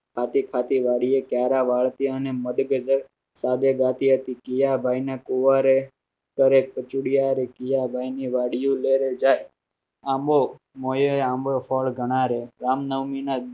ખાતે ખાતે ગાડીયે ગ્યારહ ભારતીયોને સારે ભારતીયોને મઢે કે કર ટેટીયા બાઈ ને ફુવારે ટ્રે કચોળીયા ભાઈ ને ગાળિયો લેવે આંબો મટે આંબો ફળ જણાય રામ નવમી માં